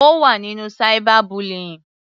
Ó wà nínú cyber bullying.